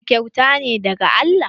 Ɗa kyauta ne daga Allah.